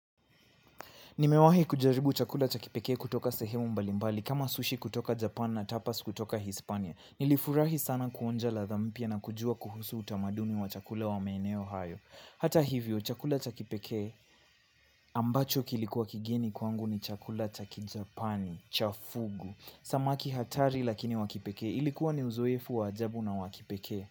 Nimewahi kujaribu chakula cha kipekee kutoka sehemu mbalimbali kama sushi kutoka Japan na tapas kutoka Hispania. Nilifurahi sana kuonja ladha mpya na kujua kuhusu utamaduni wa chakula wa maeneo hayo. Hata hivyo, chakula chakipeke ambacho kilikuwa kigeni kwangu ni chakula cha kijapani, cha fugu. Samaki hatari lakini wa kipekee ilikuwa ni uzoefu wa ajabu na wa kipekee.